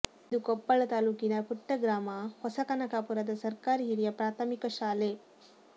ಇದು ಕೊಪ್ಪಳ ತಾಲ್ಲೂಕಿನ ಪುಟ್ಟ ಗ್ರಾಮ ಹೊಸಕನಕಾಪುರದ ಸರ್ಕಾರಿ ಹಿರಿಯ ಪ್ರಾಥಮಿಕ ಶಾಲೆ